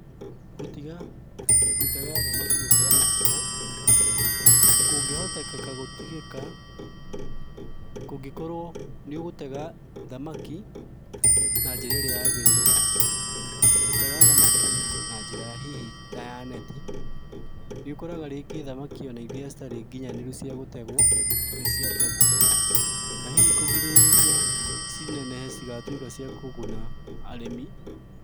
Gũtiga gũtega thamaki gũkĩra mĩhaka, kũngĩhotekeka gũtigĩka, kũngĩkorwo nĩũgũtega thamaki, na njĩra ĩrĩa yagĩrĩire. Gũtega thamaki na njĩra hihi ta ya neti, nĩũkoraga rĩngĩ thamaki ona iria citarĩ nginyanĩru cia gũtegũo, nĩciategũo, na hihi kũgirĩrĩria cinenehe cigatuĩka cia kũguna arĩmi.